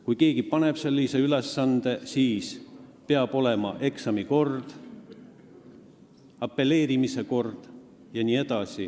Kui keegi paneb sellise ülesande, siis peab olema kindlaks määratud eksami kord, apelleerimise kord jne.